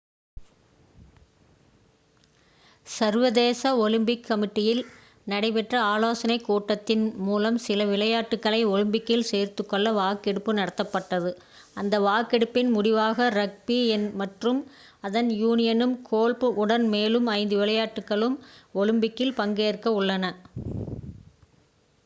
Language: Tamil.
சர்வதேச ஒலிம்பிக் கமிட்டியில் நடைபெற்ற ஆலோசனை கூட்டத்தின் மூலம் சில விளையாட்டுகளை ஒலிம்பிக்கில் சேர்த்துக்கொள்ள வாக்கெடுப்பு நடத்தப்பட்டது அந்த வாக்கெடுப்பின் முடிவாக ரக்பி மற்றும் அதன் யூனியனும் கோல்ஃப் உடன் மேலும் ஐந்து விளையாட்டுகளும் ஒலிம்பிக்சில் பங்கேற்க உள்ளன